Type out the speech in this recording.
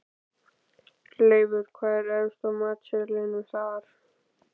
Leifur, hvað er efst á matseðlinum þar?